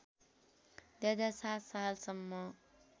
२००७ साल सम्म